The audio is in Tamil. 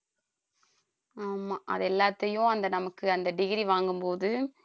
ஆமா அது எல்லாத்தையும் அந்த நமக்கு அந்த degree வாங்கும்போது